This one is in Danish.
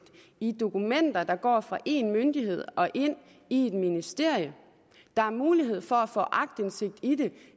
i dokumenter der går fra en myndighed og ind i et ministerium der er mulighed for at få aktindsigt